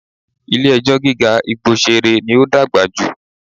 Ilé ẹjọ́ gíga Igbosere ní ó dàgbà jù